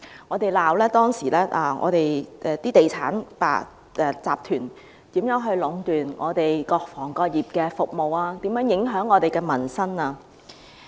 我們指責當時的地產集團如何壟斷各行各業的服務，如何影響民生。